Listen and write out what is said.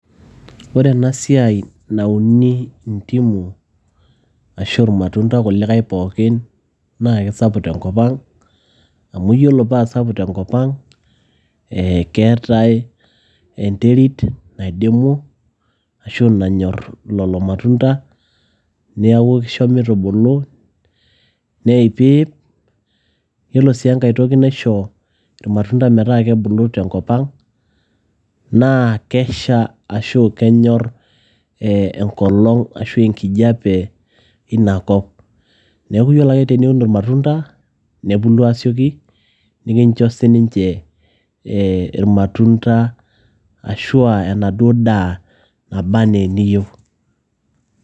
ore ena siai nauni ndimu ashu irmatunda kulikae pookin naa kisapuk tenkop ang amu yiolo paasapuk tenkop ang ee keetae enterit naidimu ashu nanyorr lolo matunda niaku kisho mitubulu neipiip, yiolo sii enkae toki naisho irmatunda metaa kebulu tenkop ang naa kesha ashu kenyorr ee enkolong ashua enkijape inakop neeku yiolo ake teniun irmatunda nebulu aasioki nikincho sininche ee irmatunda ashua enaduo daa naba anaa eniyieu.